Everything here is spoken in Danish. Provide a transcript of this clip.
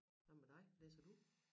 Hvad med dig læser du